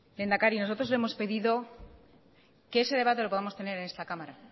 lehendakari nosotros le hemos pedido que ese debate lo podamos tener en esta cámara